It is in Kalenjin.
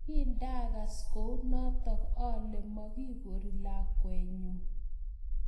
Kindakas kounotok ale makikori lakwet nyu